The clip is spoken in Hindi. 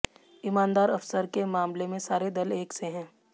ईमानदार अफसर के मामले में सारे दल एक से हैं